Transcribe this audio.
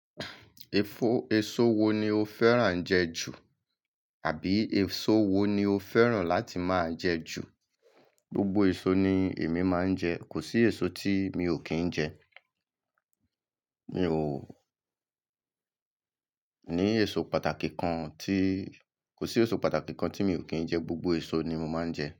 Èso wo ni o fẹ́ràn ń jẹ jù àbí èso wo ni o fẹ́ràn láti máa ń jẹ jù? Gbogbo èso ni èmi máa ń jẹ. Kò sí èso tí mi ò kí ń jẹ. Mi ò ní èso pàtàkì kan tí, kò sí èso pàtàkì kan tí mi ò kí ń jẹ. Gbogbo èso ni mo máa ń jẹ.